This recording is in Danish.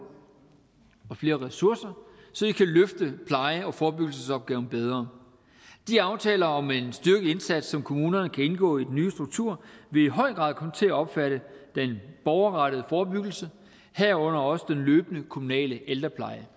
og flere ressourcer så de kan løfte pleje og forebyggelsesopgaven bedre de aftaler om en styrket indsats som kommunerne kan indgå i den nye struktur vil i høj grad komme til at omfatte den borgerrettede forebyggelse herunder også den løbende kommunale ældrepleje